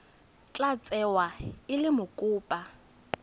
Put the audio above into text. tla tsewa e le mokopa